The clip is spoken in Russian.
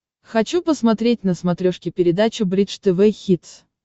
хочу посмотреть на смотрешке передачу бридж тв хитс